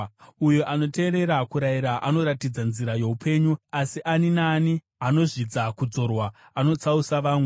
Uyo anoteerera kurayira anoratidza nzira youpenyu, asi ani naani anozvidza kudzorwa anotsausa vamwe.